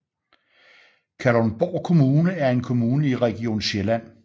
Kalundborg Kommune er en kommune i Region Sjælland